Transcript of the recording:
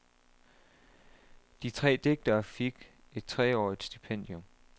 De tre digtere fik et treårigt stipendium.